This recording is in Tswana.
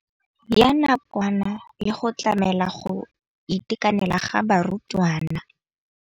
Ya nakwana le go tlamela go itekanela ga barutwana.